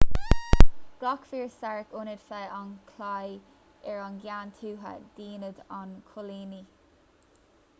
ghlac fir stark ionaid feadh an chlaí ar an gceann thuaidh d'ionad an choilínigh